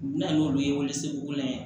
U bɛna n'olu ye weleseuguw la yan